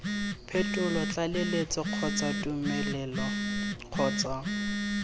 phetolo tlaleletso kgotsa tumelelo kgotsa